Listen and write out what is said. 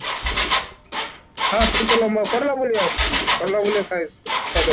ହଁ, ଟିକେ ଲମ୍ବା କଲରା ଭଳିଆ ଅଛି କଲରା ଭଳିଆ size